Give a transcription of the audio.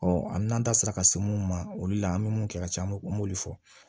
n'an da sera ka se mun ma olu la an mi mun kɛ ka ca u m'olu fɔ